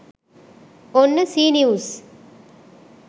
ඔන්න C news